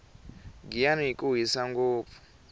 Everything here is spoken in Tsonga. giyani ku hisa ngopfu